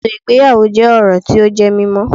Ètò ìgbéyàwó jẹ́ orò tí ó jẹ́ mímó